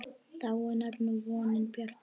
Dáin er nú vonin bjarta.